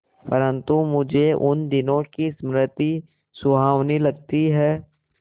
परंतु मुझे उन दिनों की स्मृति सुहावनी लगती है